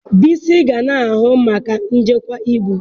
Bisi ga na-ahụ maka njikwa ibu.